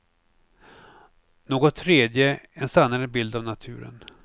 Något tredje, en sannare bild av naturen.